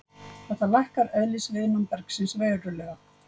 Þetta lækkar eðlisviðnám bergsins verulega.